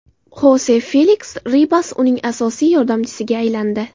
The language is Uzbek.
Xose Feliks Ribas uning asosiy yordamchisiga aylandi.